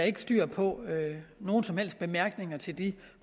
ikke styr på nogen som helst bemærkninger til de